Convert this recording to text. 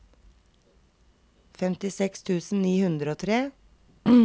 femtiseks tusen ni hundre og tre